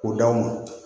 K'o d'aw ma